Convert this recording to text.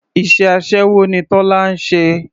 Iṣẹ́ aṣẹ́wó ni Tọ́lá ń ṣe.